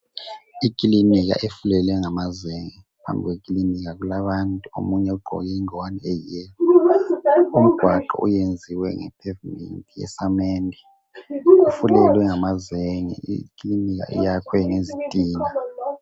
Ikilinika efulelwe ngamazenge. Phambi kwekilinika kulabantu omunye ugqoke ingwane eyi"yellow" .Umgwaqo uyenziwe nge "pavement" yesamende. Kufulelwe ngamazenge, ikilinika iyakhwe ngezitina.